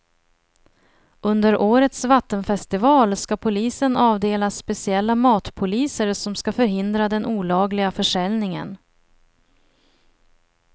Under årets vattenfestival ska polisen avdela speciella matpoliser som ska förhindra den olagliga försäljningen.